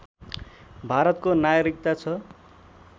भारतको नागरिकता छ